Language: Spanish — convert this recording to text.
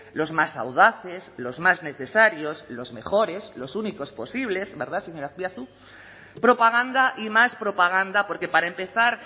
los más audaces los más necesarios los mejores los únicos posibles verdad señor azpiazu propaganda y más propaganda porque para empezar